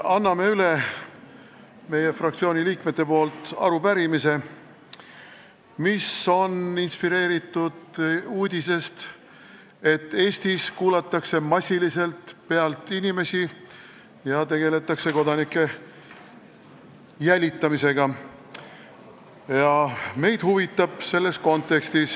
Annan meie fraktsiooni liikmete nimel üle arupärimise, mis on inspireeritud uudisest, et Eestis kuulatakse inimesi massiliselt pealt ja tegeletakse kodanike jälitamisega.